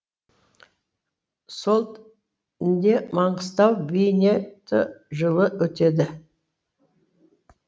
солт нде маңғыстау бейне т жылы өтеді